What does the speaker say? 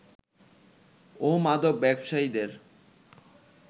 ও মাদক ব্যবসায়ীদের